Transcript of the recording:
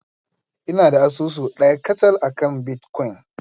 Ina da asusu ɗaya kacal akan bitcoin.